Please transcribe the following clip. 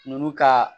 Nunnu ka